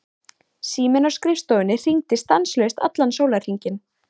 Síminn á skrifstofunni hringdi stanslaust allan sólarhringinn.